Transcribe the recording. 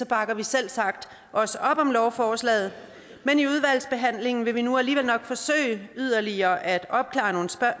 bakker vi selvsagt også op om lovforslaget men i udvalgsbehandlingen vil vi nu alligevel nok forsøge yderligere at opklare